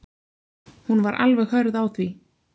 Hún var alveg hörð á því.